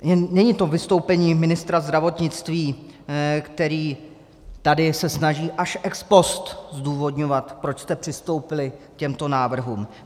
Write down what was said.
Není to vystoupení ministra zdravotnictví, který tady se snaží až ex post zdůvodňovat, proč jste přistoupili k těmto návrhům.